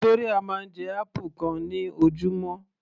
Victoria máa ń jẹ apple kan ní ojúmọ́